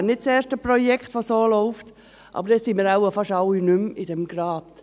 Es wäre nicht das erste Projekt, das so läuft, aber dann sind wir wohl fast alle nicht mehr in diesem Rat.